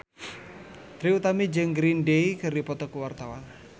Trie Utami jeung Green Day keur dipoto ku wartawan